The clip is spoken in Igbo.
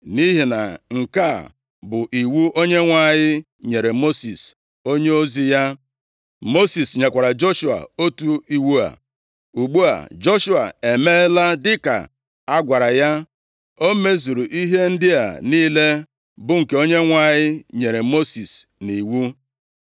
Nʼihi na nke a bụ iwu Onyenwe anyị nyere Mosis onyeozi ya. Mosis nyekwara Joshua otu iwu a. Ugbu a Joshua emeela dịka a gwara ya. O mezuru ihe ndị a niile, bụ nke Onyenwe anyị nyere Mosis nʼiwu.